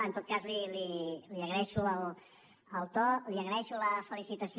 en tot cas li agraeixo el to li agraeixo la felicitació